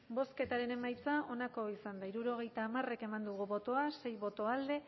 bozketaren emaitza onako izan da hirurogeita hamar eman dugu bozka sei boto alde